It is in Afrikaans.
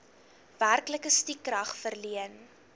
werklike stukrag verleen